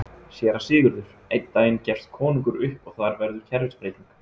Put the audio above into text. SÉRA SIGURÐUR: Einn daginn gefst konungur upp og þar verður kerfisbreyting!